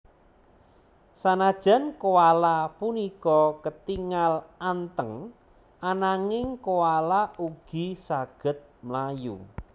Sanajan koala punika ketingal anteng ananging koala ugi saged mlayu